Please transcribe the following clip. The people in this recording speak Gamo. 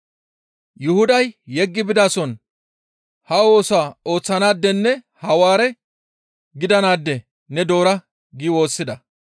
Yuhuday yeggi bidason ha oosaa ooththanaadenne Hawaare gidanaade ne doora» gi woossida.